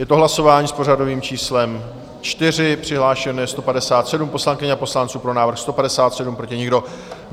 Je to hlasování s pořadovým číslem 4, přihlášeno je 157 poslankyň a poslanců, pro návrh 157, proti nikdo.